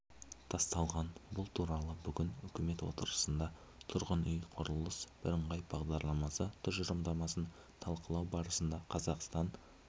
тасталған бұл туралы бүгін үкімет отырысында тұрғын үй құрылысы бірыңғай бағдарламасы тұжырымдамасын талқылау барысында қазақстан